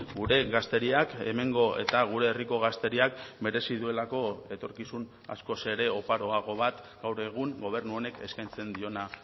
gure gazteriak hemengo eta gure herriko gazteriak merezi duelako etorkizun askoz ere oparoago bat gaur egun gobernu honek eskaintzen diona